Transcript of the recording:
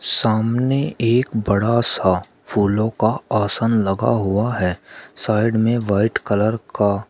सामने एक बड़ा सा फूलों का आसन लगा हुआ है साइड में वाइट कलर का--